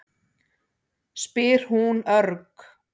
spyr hún örg.